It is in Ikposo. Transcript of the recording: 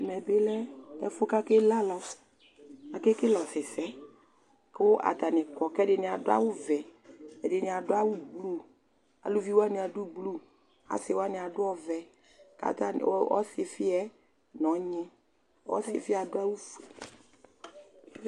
Ɛmɛ bɩ lɛ ɛfʋ kʋ akele alɔ Akekele ɔsɩsɛ kʋ atanɩ kɔ kʋ ɛdɩnɩ adʋ awʋvɛ, ɛdɩnɩ adʋ awʋblu Aluvi wanɩ adʋ blu Asɩ wanɩ adʋ ɔvɛ kʋ atanɩ u ɔsɩfɩ yɛ nʋ ɔnyɩ Ɔsɩfɩ yɛ adʋ awʋfue